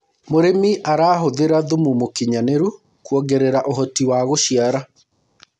mũrĩmi arahuthira thumu mũũkĩnyanĩru kuongerera uhoti wa guciara